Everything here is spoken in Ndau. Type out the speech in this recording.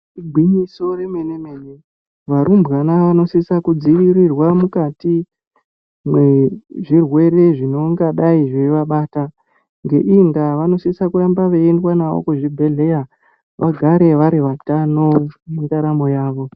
Igwinyiso yemene mene ,varumbwana vanositsa kudzivirirwa mukati mezvirwere zvinongadai zvaivabata .Ngeiyi ndaa vanositsa kuramba vaiendwa navo kuzvibhedhleya kuti vagare vari vatano mundaramo yavo.